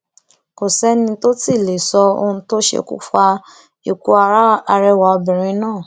kò sẹni tó tì í lè sọ ohun tó ṣokùnfà ikú arẹwà obìnrin náà